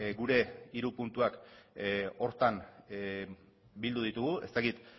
gure hiru puntuak horretan bildu ditugu ez dakit